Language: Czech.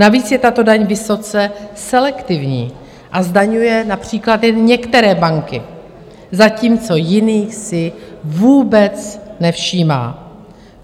Navíc je tato daň vysoce selektivní a zdaňuje například jen některé banky, zatímco jiných si vůbec nevšímá.